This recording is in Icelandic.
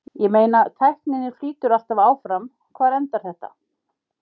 Ég meina tækninni flýtur alltaf áfram, hvar endar þetta?